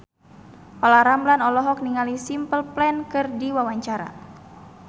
Olla Ramlan olohok ningali Simple Plan keur diwawancara